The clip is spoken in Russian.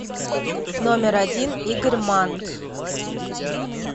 номер один игорь манн